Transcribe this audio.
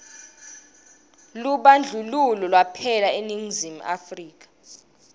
lubandlululo lwaphela eningizimu afrika